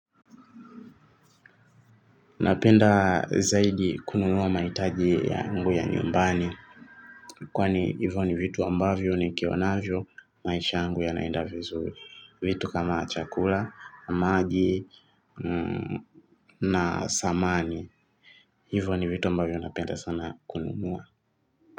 Napenda zaidi kununua mahitaji yangu ya nyumbani kwani hivyo ni vitu ambavyo nikiwanavyo maisha yaangu yanaenda vizuri vitu kama chakula, maji na samani. Hivyo ni vitu ambavyo napenda sana kunumuwa.